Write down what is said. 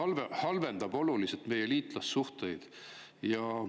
See halvendab oluliselt meie liitlassuhteid.